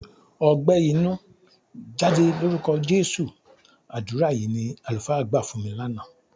"Ọgbẹ́ inú, jáde lórúkọ Jésù!" Àdúrà yìí ni àlùfáà gbà fún mi lánàá.